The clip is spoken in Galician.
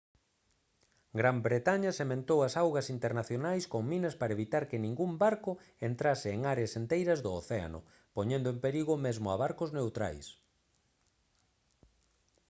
gran bretaña sementou as augas internacionais con minas para evitar que ningún barco entrase en áreas enteiras do océano poñendo en perigo mesmo a barcos neutrais